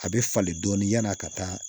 A bɛ falen dɔɔnin yan'a ka taa